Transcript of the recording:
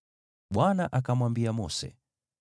Bwana akamwambia Mose,